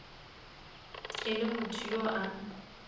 e le motho yo a